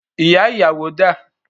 Ìyá ìyàwó dà?